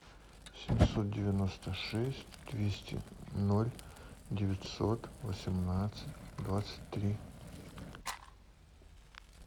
семьсот девяносто шесть двести ноль девятьсот восемнадцать двадцать три